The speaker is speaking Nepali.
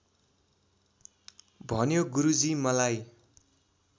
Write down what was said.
भन्यो गुरुजी मलाई